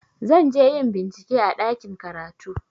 Zan je yin bincike a ɗakin karatu.